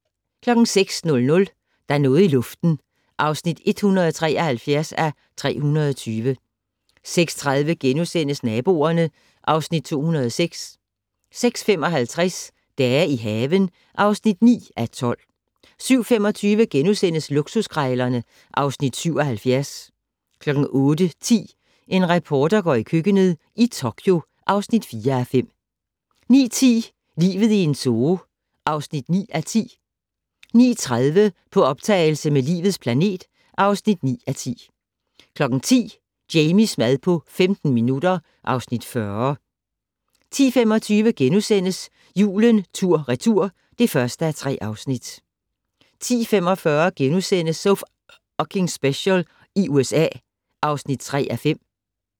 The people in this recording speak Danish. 06:00: Der er noget i luften (173:320) 06:30: Naboerne (Afs. 206)* 06:55: Dage i haven (9:12) 07:25: Luksuskrejlerne (Afs. 77)* 08:10: En reporter går i køkkenet - i Tokyo (4:5) 09:10: Livet i en zoo (9:10) 09:30: På optagelse med "Livets planet" (9:10) 10:00: Jamies mad på 15 minutter (Afs. 40) 10:25: Julen tur/retur (1:3)* 10:45: So F***ing Special i USA (3:5)*